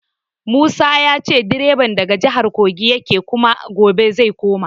Musa ya ce direban daga jihar Kogi yake kuma gobe zai koma.